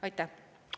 Aitäh!